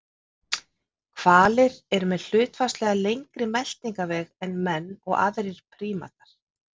Hvalir eru með hlutfallslega lengri meltingarveg en menn og aðrir prímatar.